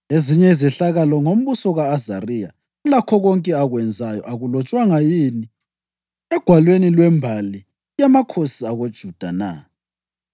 Ezinye izehlakalo ngombuso ka-Azariya, lakho konke akwenzayo, akulotshwanga yini egwalweni lwembali yamakhosi akoJuda na?